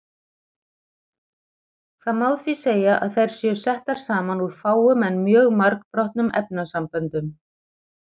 Það má því segja að þær séu settar saman úr fáum en mjög margbrotnum efnasamböndum.